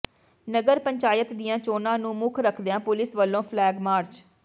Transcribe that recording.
ਨਗਰ ਪੰਚਾਇਤ ਦੀਆਂ ਚੋਣਾਂ ਨੂੰ ਮੁੱਖ ਰੱਖਦਿਆਂ ਪੁਲਿਸ ਵਲੋਂ ਫਲੈਗ ਮਾਰਚ